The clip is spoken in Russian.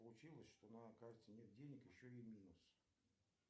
получилось что на карте нет денег еще и минус